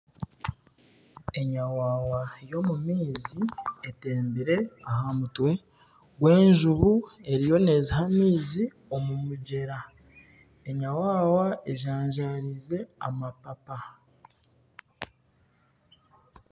Enyawawa y'omu maizi atembire aha mutwe gw'enjubu eriyo neziiha omu maizi omu mugyera, enyawawa enjajarize amapapa.